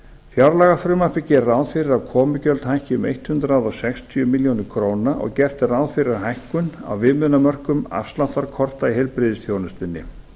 fjárlagafrumvarpið gerir ráð fyrir að komugjöld hækki um hundrað sextíu milljónir króna og gert er ráð fyrir hækkun á viðmiðunarmörkum afsláttarkorta í heilbrigðisþjónustunni